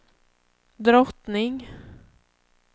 drottning